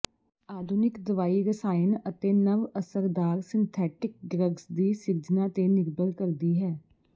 ਆਧੁਨਿਕ ਦਵਾਈ ਰਸਾਇਣ ਅਤੇ ਨਵ ਅਸਰਦਾਰ ਸਿੰਥੈਟਿਕ ਡਰੱਗਜ਼ ਦੀ ਸਿਰਜਣਾ ਤੇ ਨਿਰਭਰ ਕਰਦੀ ਹੈ